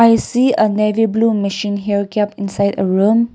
we see a navy blue mission here kept inside a room.